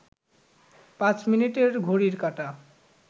পাঁচ মিনিটের ঘড়ির কাঁটা